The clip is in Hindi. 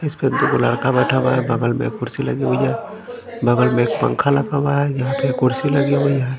इसपे दो लड़का बेठा हुआ है बगल में कुर्सी लगी हुई है बगल में एक पंखा लगा हुआ है यहाँ पे एक कुर्सी लगी हुई है।